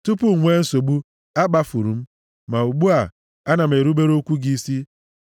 Tupu m nwee nsogbu, a kpafuru m, ma ugbu a, ana m erubere okwu gị isi.